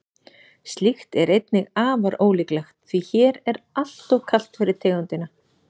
slíkt er einnig afar ólíklegt því hér er alltof kalt fyrir tegundina